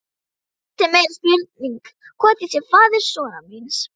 Hitt er meiri spurning hvort ég sé faðir sonar míns.